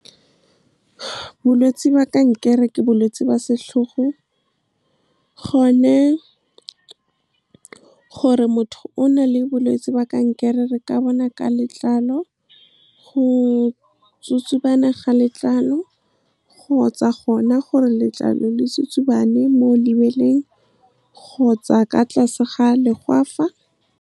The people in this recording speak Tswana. Bolwetse kankere ke bolwetse ba setlhogo, gone gore motho o na le bolwetse ba kankere ka bona ka letlalo, go tsutsubana ga letlalo kgotsa gona gore letlalo le setsutsubane mo lebeleng kgotsa ka tlase ga legwafa. Bolwetse kankere ke bolwetse ba setlhogo, gone gore motho o na le bolwetse ba kankere ka bona ka letlalo, go tsutsubana ga letlalo kgotsa gona gore letlalo le setsutsubane mo lebeleng kgotsa ka tlase ga legwafa.